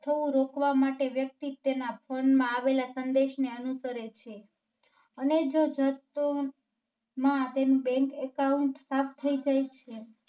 થવું રોકવા માટે વ્યક્તિ તેના Phone માં આવેલા સંદેશને અનુસરે છે. અને જો માં આપેલી Bank Account સાફ થઈ જાય છે.